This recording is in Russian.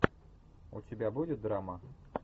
у тебя будет драма